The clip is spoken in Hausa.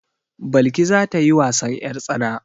Balki za ta yi wasan 'yartsana.